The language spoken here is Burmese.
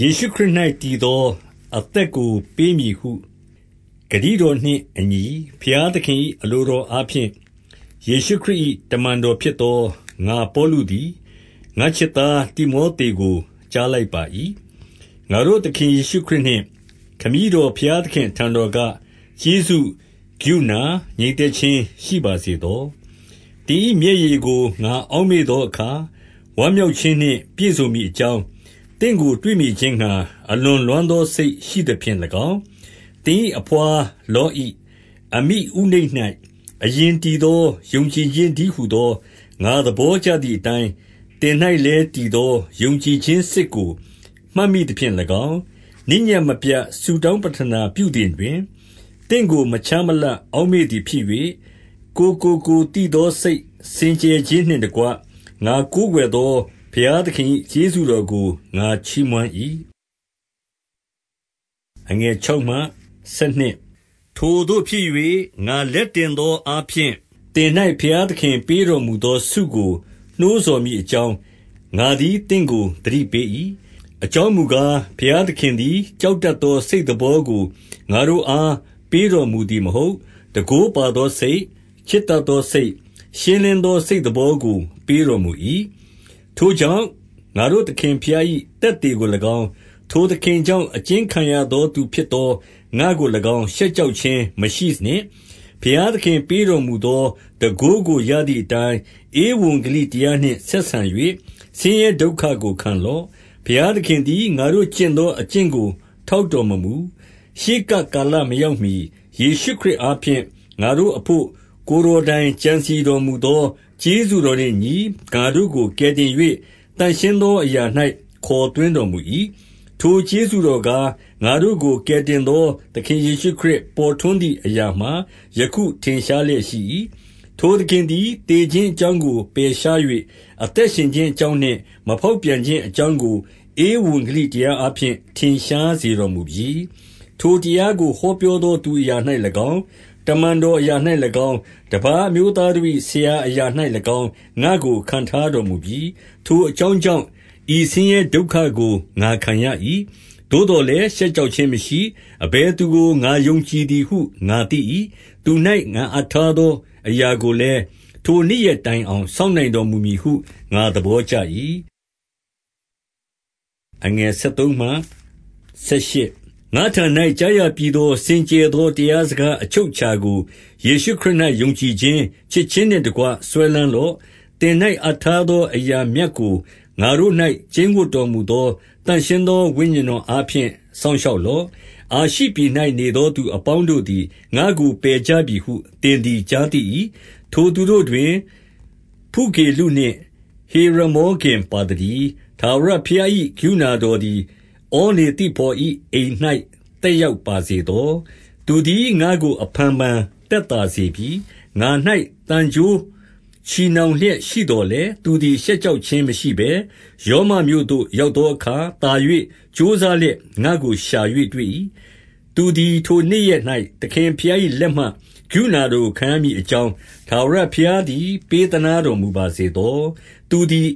ယေရှုခရစ်၌တည်သော အသက်ကိုပေးမည်ဟုဂတိတော်နှင့်အညီ၊ ဘုရားသခင်၏ အလိုတော် အားဖြင့်၊ ယေရှုခရစ်၏ တမန်တော်ဖြစ်သော ငါပေါလုသည် ငါ့ချစ်သားတိမောသေကို ကြားလိုက်ပါ၏။ ငါတို့သခင် ယေရှုခရစ်နှင့် ခမည်းတော်ဘုရားသခင်အထံတော်က ကျေးဇူး၊ ကရုဏာ၊ ငြိမ်သက်ခြင်းရှိ ပါစေသော။ သင်၏မျက်ရည်ကို ငါအောက်မေ့သောအခါ၊ ဝမ်းမြောက်ခြင်းနှင့်ပြည့်စုံမည်အကြောင်း၊ သင့်ကို တွေ့မြင်ခြင်းငှါ အလွန်လွမ်းသောစိတ်ရှိသဖြင့်၎င်း၊ သင်၏အဘွားလောဣ၊ အမိဥနိတ်၌ အရင်တည်သော ယုံကြည်ခြင်းတည်းဟူသော၊ ငါသဘောကျသည်အတိုင်း၊ သင်၌လည်းတည်သော ယုံကြည်ခြင်းစစ်ကို မှတ်မိသဖြင့်၎င်း၊ နေ့ညဉ့်မပြတ်ဆုတောင်း ပဌနာပြုသည်တွင်၊ သင့်ကိုမခြားမလပ် အောက်မေ့သည်ဖြစ်၍၊ ငါ့ဘိုးဘေးကိုးကွယ်သည်အတိုင်း၊ ကိုယ်ကိုကိုယ်သိသော စိတ်စင်ကြယ်ခြင်းနှင့်တကွ ငါကိုးကွယ်သော ဘုရား သခင်၏ ကျေးဇူးတော်ကို ငါချီးမွမ်း၏။ ထိုသို့ဖြစ်၍၊ ငါလက်တင်သောအားဖြင့်၊ သင်၌ ဘုရားသခင်ပေးတော်မူသောဆုကို နှိုးဆော်မည် အကြောင်း၊ ငါသည်သင့်ကို သတိပေး၏။ အကြောင်းမူကား၊ ဘုရားသခင်သည် ကြောက်တတ်သော စိတ်သဘောကို ငါတို့အား ပေးတော်မူ သည်မဟုတ်၊ တန်ခိုးပါသောစိတ်၊ ချစ်တတ်သောစိတ်၊ ရှင်းလင်းသောစိတ်သဘောကို ပေးတော်မူ၏။ ထိုကြောင့်၊ ငါတို့သခင်ဘုရား၏ သက်သေကို၎င်း၊ ထိုသခင်ကြောင့်အကျဉ်းခံရသောသူဖြစ်သောငါကို ၎င်း ရှက်ကြောက်ခြင်းမရှိနှင့်။ ဘုရားသခင်ပေးတော်မူသော တန်ခိုးကိုရသည်အတိုင်း ဧဝံဂေလိတရားနှင့် ဆက်ဆံ၍ ဆင်းရဲဒုက္ခကိုခံလော့။ ဘုရားသခင်သည် ငါတို့ကျင့်သောအကျင့်ကို ထောက်တော်မမူ။ ရှေးကပ်ကာလမရောက်မှီ၊ ယေရှုခရစ်အားဖြင့် ငါတို့အဘို့ ကိုယ်တော်တိုင်ကြံစည်တော်မူသော ကျေးဇူးတော်နှင့်အညီ ငါတို့ကိုကယ်တင်၍၊ သန့်ရှင်းသောအရာ၌ ခေါ်သွင်းတော်မူ၏။ ထိုကျေးဇူးတော်ကား၊ ငါတို့ကိုကယ်တင်သော သခင်ယေရှုခရစ် ပေါ်ထွန်းသည်အရာမှာ ယခုထင်ရှား လျက်ရှိ၏။ ထိုသခင်သည် သေခြင်းအကြောင်းကို ပယ်ရှား၍၊ အသက်ရှင်ခြင်းအကြောင်းနှင့် မဖောက်ပြန် ခြင်းအကြောင်းကို ဧဝံရေလိတရားအားဖြင့် ထင်ရှားစေတော်မူပြီ။ ထိုတရားကို ဟောပြောသောသူအရာ၌၎င်း၊ တမန်တော်အရာ၌၎င်း၊ တပါးအမျိုးသားတို့၏ ဆရာ အရာ၌၎င်း ငါ့ကိုခန့်ထားတော်မူပြီ၊ ထိုအကြောင်းကြောင့် ဤဆင်းရဲဒုက္ခကို ငါခံရ၏။ သို့သော်လည်း ရှက်ကြောက်ခြင်းမရှိ။ အဘယ်သူကို ငါယုံကြည်သည်ဟု ငါသိ၏။ သူ၌ငါအပ်ထားသောအရာကိုလည်း၊ ထိုနေ့ရက်တိုင်အောင် စောင့်နိုင် တော်မူသည်ဟု ငါသဘောကျ၏။ ငါ့ထံ၌ကြားရပြီးသော၊ စင်ကြယ်သောတရား စကားအချုပ်အခြာကို၊ ယေရှုခရစ်၌ ယုံကြည်ခြင်း၊ ချစ်ခြင်းနှင့်တကွ စွဲလမ်းလော့။ သင်၌အပ်ထားသော အရာမြတ်ကို ငါတို့၌ ကျိန်းဝပ်တော်မူသော သန့်ရှင်းသော ဝိညာဉ်တော်အား ဖြင့် စောင့်ရှောက်လော့။ အာရှိပြည်၌နေသော သူအပေါင်းတို့သည် ငါ့ကိုပယ်ကြပြီဟု၊ သင်သည် ကြားသိ၏။ ထိုသူတို့တွင် ဖုဂေလုနှင့် ဟေရမောဂင်ပါသတည်း။ ထာဝရဘုရား၏ ကရုဏာတော်သည် ဩနေသိဖော်၏အိမ်၌သက်ရောက်ပါစေသော။ သူသည်ငါ့ကို အဖန်ဖန်သက်သာစေပြီ။ ငါ၌သံကြိုးချည်နှောင်လျက်ရှိသော်လည်း၊ သူသည် ရှက်ကြောက်ခြင်းမရှိဘဲ၊ ရောမမြို့သို့ရောက်သောအခါ သာ၍ကြိုးစားလျက်ငါ့ကိုရှာ၍တွေ့၏။ သူသည်ထိုနေ့ရက်၌ သခင်ဘုရား၏လက်မှ ကရုဏာတော်ကို ခံရမည်အကြောင်း၊ ထာဝရဘုရားသည် ပေးသနားတော်မူပါစေသော။ သူသည်